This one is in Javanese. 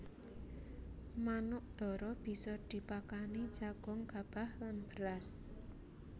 Manuk dara bisa dipakani jagung gabah lan beras